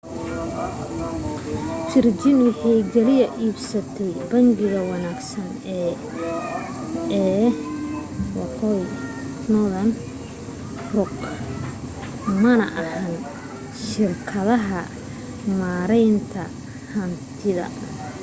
virgin waxay kaliya iibsatay ' bangiga wanaagsan’ ee northern rock mana ahan shirkadda maareynta hantida